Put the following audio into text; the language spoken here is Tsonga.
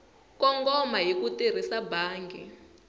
kongoma hi ku tirhisa bangi